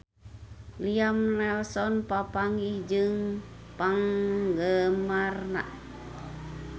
Liam Neeson papanggih jeung penggemarna